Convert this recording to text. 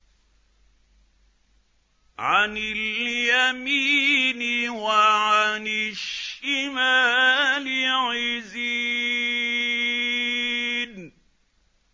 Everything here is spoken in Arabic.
عَنِ الْيَمِينِ وَعَنِ الشِّمَالِ عِزِينَ